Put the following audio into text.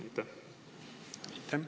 Aitäh!